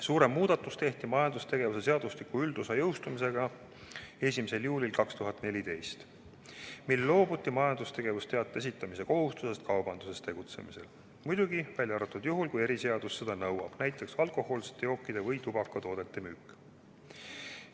Suurem muudatus tehti majandustegevuse seadustiku üldosa jõustumisega 1. juulil 2014, mil loobuti majandustegevusteate esitamise kohustusest kaubanduses tegutsemisel, seda muidugi välja arvatud juhul, kui eriseadus seda nõuab, näiteks alkohoolsete jookide või tubakatoodete müük.